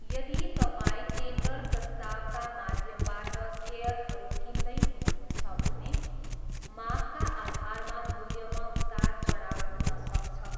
यदि तपाईँ टेन्डर प्रस्तावका माध्यमबाट सेयरहरू किन्दै हुनुहुन्छ भने, मागका आधारमा मूल्यमा उतारचढाव हुन सक्छ।